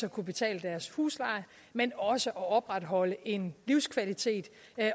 at kunne betale deres husleje men også opretholde en livskvalitet